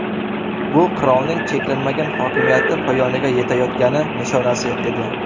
Bu qirolning cheklanmagan hokimiyati poyoniga yetayotgani nishonasi edi.